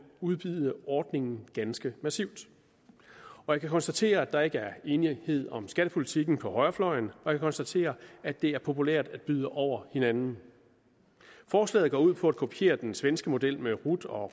udvide ordningen ganske massivt jeg kan konstatere at der ikke er enighed om skattepolitikken på højrefløjen og jeg kan konstatere at det er populært at byde over hinanden forslaget går ud på at kopiere den svenske model med rot og